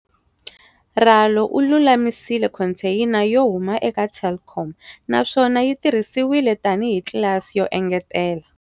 Ralo u lulamisile khonteyina yo huma eka Telkom naswona yi tirhisiwile tanihi tlilasi yo engetela.